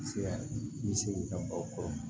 Se bi se k'i ka baw kɔrɔ